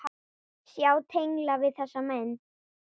Sjá tengla við þessa menn.